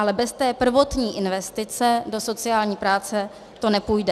Ale bez té prvotní investice do sociální práce to nepůjde.